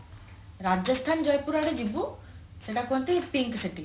ରାଜସ୍ଥାନ ଜୟପୁର ଆଡେ ଯିବୁ ସେଇଟା କୁହନ୍ତି pink city